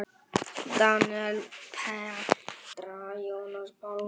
Daníel, Petra, Jónas Pálmi.